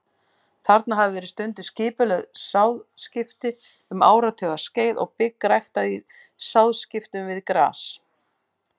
Þarna hafa verið stunduð skipulögð sáðskipti um áratugaskeið og bygg ræktað í sáðskiptum við gras.